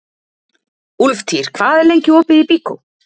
Úlftýr, hvað er lengi opið í Byko?